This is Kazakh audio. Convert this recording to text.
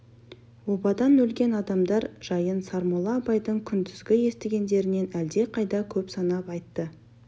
обадан өлген адамдар жайын сармолла абайдың күндізгі естігендерінен әлдеқайда көп санап айтты